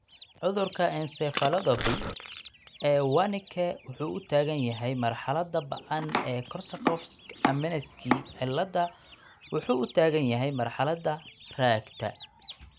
Cudurka encephalopathy ee Wernicke wuxuu u taagan yahay marxaladda "ba'an" iyo Korsakoff's amnesic ciilada wuxuu u taagan yahay marxaladda "raagta".